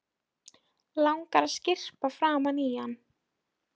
Langar að skyrpa framan í hann.